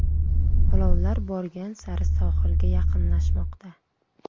Olovlar borgan sari sohilga yaqinlashmoqda.